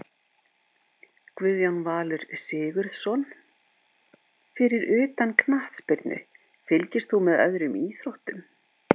Guðjón Valur Sigurðsson Fyrir utan knattspyrnu, fylgist þú með öðrum íþróttum?